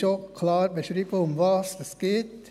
Dort ist auch klar beschrieben, worum es geht.